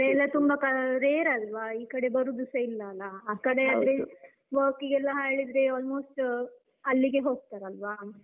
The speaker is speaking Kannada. ಎಲ್ಲ ತುಂಬಾ rare ಅಲ್ವ ಬರುದು ಸ ಇಲ್ಲಲ್ಲ. ಆಕಡೆ ಆದ್ರೆ work ಗೆಲ್ಲ ಹಾ ಹೇಳಿದ್ರೆ almost ಅಲ್ಲಿಗೇ ಹೋಗ್ತಾರಲ್ವಾ?